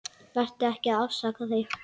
Vertu ekki að afsaka þig.